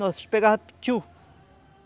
Nós pegávamos petiu.